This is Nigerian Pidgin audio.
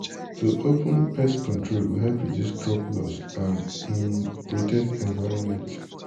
to open pest control go help reduce crop loss and um protect environment.